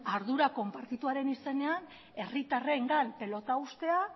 ardura konpartituaren izenean herritarrengan pilota uztea